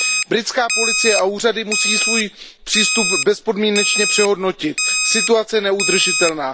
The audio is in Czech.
Britská policie a úřady musí svůj přístup bezpodmínečně přehodnotit, situace je neudržitelná.